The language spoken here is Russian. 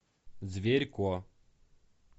зверько